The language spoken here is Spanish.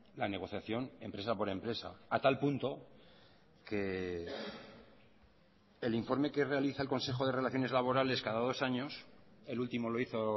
la negociación empresa por empresa a tal punto que el informe que realiza el consejo de relaciones laborales cada dos años el último lo hizo